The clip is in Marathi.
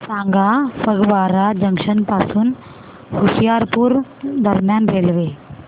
सांगा फगवारा जंक्शन पासून होशियारपुर दरम्यान रेल्वे